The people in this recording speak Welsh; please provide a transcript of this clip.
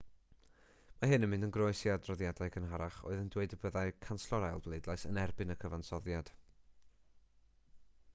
mae hyn yn mynd yn groes i adroddiadau cynharach oedd yn dweud y byddai canslo'r ail bleidlais yn erbyn y cyfansoddiad